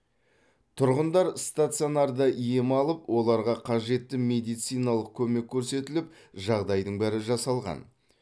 тұрғындар стационарда ем алып оларға қажетті медициналық көмек көрсетіліп жағдайдың бәрі жасалған